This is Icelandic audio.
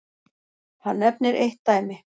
Hann nefnir eitt dæmi.